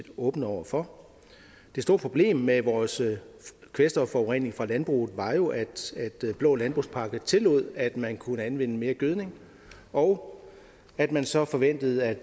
åbne over for det store problem med vores kvælstofforurening fra landbruget var jo at blå landbrugspakke tillod at man kunne anvende mere gødning og at man så forventede at